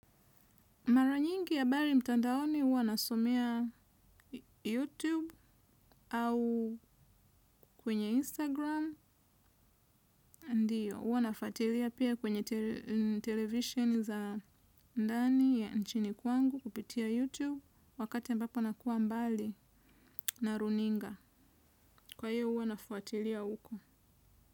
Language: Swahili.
Mara nyingi habari mtandaoni huwa nasomea YouTube au kwenye Instagram ndiyo, huwa nafuatilia pia kwenye televisheni za ndani ya nchini kwangu kupitia YouTube wakati ambapo nakua mbali na runinga. Kwa hiyo huwa nafuatilia huko.